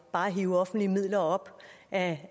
bare at hive offentlige midler op af